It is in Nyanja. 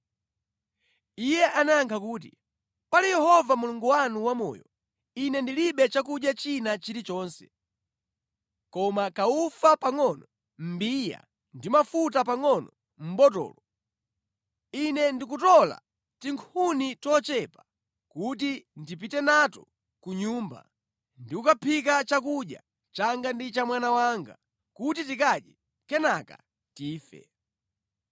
Iye anayankha kuti “Pali Yehova Mulungu wanu wamoyo, ine ndilibe chakudya china chilichonse, koma kaufa pangʼono mʼmbiya ndi mafuta pangʼono mʼbotolo. Ine ndikutola tinkhuni tochepa kuti ndipite nato ku nyumba ndi kukaphika chakudya changa ndi cha mwana wanga, kuti tikadye kenaka tife.”